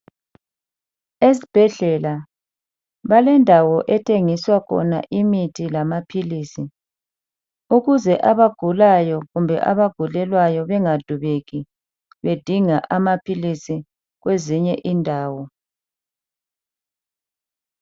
Esibhedlela balendawo ethengiswa khona imithi lamaphilisi ukuze abagulayo kumbe abagulelwayo bangadubeki bedinga amaphilisi kwezinye indawo.